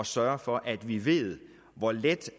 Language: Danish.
sørge for at vi ved hvor let